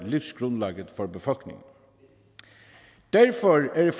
livsgrundlaget for befolkningen derfor er